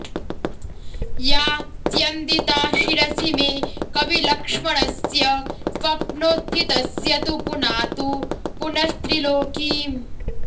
या स्यन्दिता शिरसि मे कविलक्ष्मणस्य स्वप्नोत्थितस्य तु पुनातु पुनस्त्रिलोकीम्